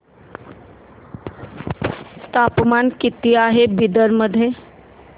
तापमान किती आहे बिदर मध्ये